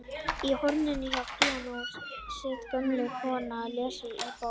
Í horninu hjá píanóinu situr gömul kona og les í bók.